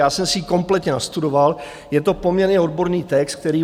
Já jsem si ji kompletně nastudoval, je to poměrně odborný text, který...